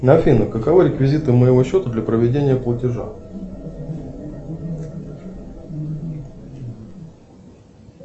афина каковы реквизиты моего счета для проведения платежа